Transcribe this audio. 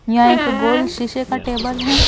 यहां एक गोल शीशे का टेबल है।